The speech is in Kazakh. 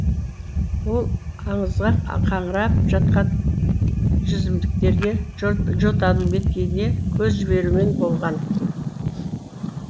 ол аңызға қаңырап жатқан жүзімдіктерге жотаның беткейіне көз жіберумен болған